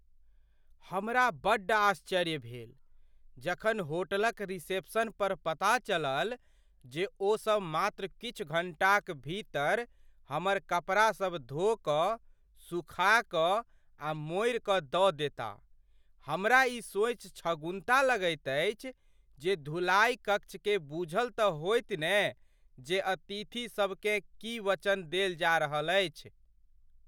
हमरा बड्ड आश्चर्य भेल जखन होटलक रिसेप्शनपर पता चलल जे ओ सब मात्र किछु घण्टाक भीतर हमर कपड़ासभ धो कऽ, सुखा कऽ आ मोड़ि कऽ दऽ देता। हमरा ई सोचि छगुन्ता लगैत अछि जे धुलाइ कक्षकेँ बूझल तँ होयत ने जे अतिथिसभ केँ की वचन देल जा रहल अछि।